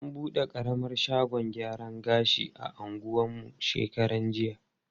An bude ƙaramar shagon gyaran gashi a anguwan mu shekarar jiya.